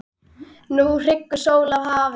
Nú hnígur sól að hafi.